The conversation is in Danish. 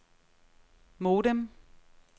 modem